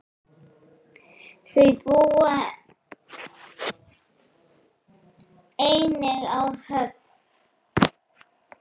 Þau búa einnig á Höfn.